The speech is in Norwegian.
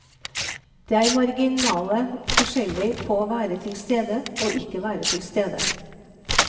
Det er marginale forskjeller på å være tilstede og ikke være tilstede.